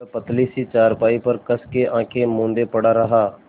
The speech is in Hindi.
वह पतली सी चारपाई पर कस के आँखें मूँदे पड़ा रहा